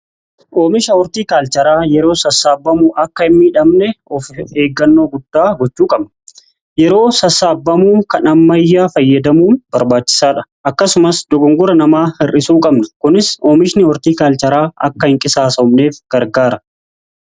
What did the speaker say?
Oomisha ortiikaalcharaa yeroo sassaabamuu akka hin miidhamne of eeggannoo guddaa gochuu qabna. Yeroo sasaabamu kan ammayyaa fayyadamuun barbaachisaadha. Akkasumas dogongora namaa hir'isuu qabna. Kunis oomishni ortiikaalcharaa akka hin qisaasof neef gargaara.